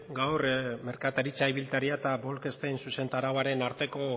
gaur merkataritza ibiltaria eta bolkestein zuzentarauaren arteko